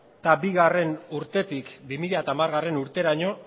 bigarrena urtetik bi mila hamargarrena urteraino